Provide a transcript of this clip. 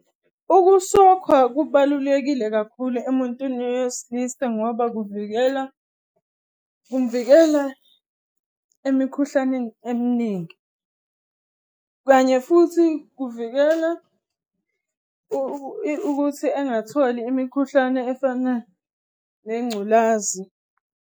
Ukusokhwa kubalulekile kakhulu emuntwini wesilisa ngoba kuvikela, kumvikela emikhuhlaneni eminingi, kanye futhi kuvikela ukuthi engatholi imikhuhlane efana nengculazi.